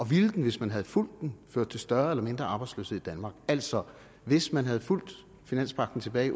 ville den hvis man havde fulgt den ført til større eller mindre arbejdsløshed i danmark altså hvis man havde fulgt finanspagten tilbage i